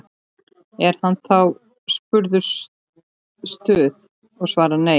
Er hann þá spurður Stuð? og svarar: Nei.